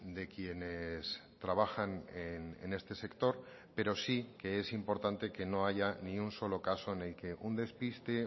de quienes trabajan en este sector pero sí que es importante que no haya ni un solo caso en el que un despiste